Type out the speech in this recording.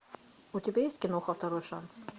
у тебя есть киноха второй шанс